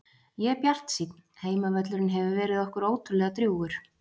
Ég er bjartsýnn, heimavöllurinn hefur verið okkur ótrúlega drjúgur.